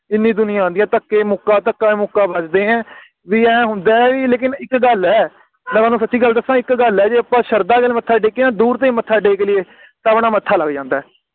ਇੰਨੀ ਦੁਨੀਆਂ ਆਉਂਦੀ ਆ ਧੱਕੇ ਮੁੱਕਾ ਧੱਕਾ ਮੁੱਕਾ ਵੱਜਦੇ ਏ ਵੀ ਏ ਹੁੰਦਾ ਏ ਵੀ ਲੇਕਿਨ ਇਕ ਗੱਲ ਏ ਲੈ ਮੈਂ ਤੁਹਾਨੂੰ ਸੱਚੀ ਦਸਾ ਇਕ ਗੱਲ ਹੈ ਜੇ ਅੱਪਾ ਸ਼ਰਧਾ ਦੇ ਨਾਲ ਮੱਥਾ ਟੇਕੀਏ ਨਾ ਦੂਰ ਤੋਂ ਹੀ ਮੱਥਾ ਟੇਕ ਲਈਏ ਤਾ ਆਪਣਾ ਮੱਥਾ ਲੱਗ ਜਾਂਦਾ ਏ